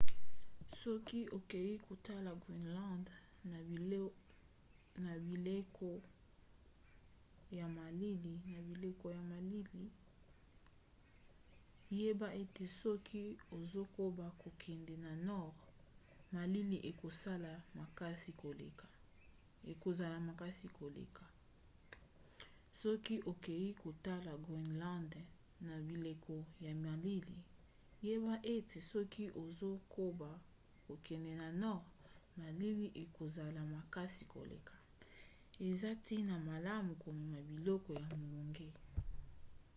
soki okei kotala groenland na bileko ya malili yeba ete soki ozokoba kokende na nord malili ekozala makasi koleka eza ntina malamu komema biloko ya molunge